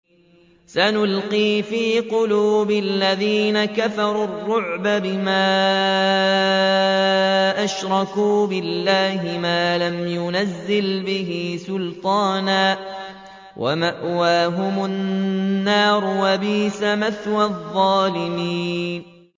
سَنُلْقِي فِي قُلُوبِ الَّذِينَ كَفَرُوا الرُّعْبَ بِمَا أَشْرَكُوا بِاللَّهِ مَا لَمْ يُنَزِّلْ بِهِ سُلْطَانًا ۖ وَمَأْوَاهُمُ النَّارُ ۚ وَبِئْسَ مَثْوَى الظَّالِمِينَ